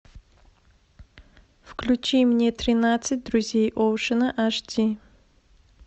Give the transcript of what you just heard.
включи мне тринадцать друзей оушена аш ди